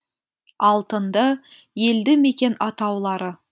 алтынды елді мекен атаулары